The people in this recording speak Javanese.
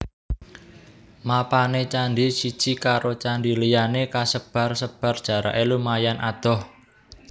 Mapané candhi siji karo candhi liyané kasebar sebar jaraké lumayan adoh